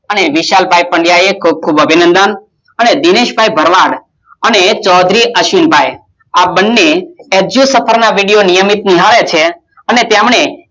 અને વિશાલ ભાઈ પંડીયા ખુબખુબ અભિનંદન અને દિનેશભાઇ ભરવાડ અને ચોદરી અશ્વિનભાઈ આ બને અજુંયુંસફર નિયમિત નિભાવે છે